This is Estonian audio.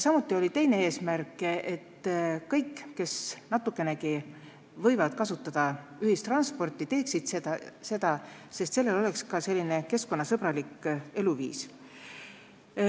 Samuti oli teine eesmärk, et kõik, kes natukenegi võivad kasutada ühistransporti, seda teeksid, sest see oleks ka keskkonnasõbralik eluviis.